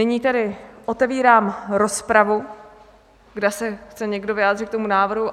Nyní tedy otevírám rozpravu, zda se chce někdo vyjádřit k tomu návrhu.